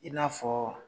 I n'a fɔ